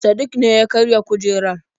Sadik ne ya karya kujerar.